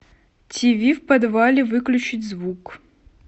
тиви в подвале выключить звук